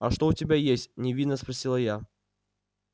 а что у тебя есть невинно спросила я